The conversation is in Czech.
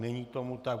Není tomu tak.